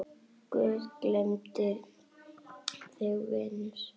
Guð geymi þig, vinur.